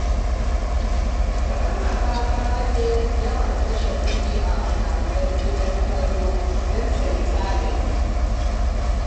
Wata mata ta rage yawan kashe kuɗi a fina-finan gidan kallo don tayi tanadi.